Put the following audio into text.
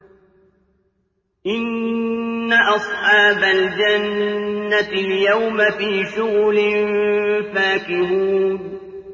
إِنَّ أَصْحَابَ الْجَنَّةِ الْيَوْمَ فِي شُغُلٍ فَاكِهُونَ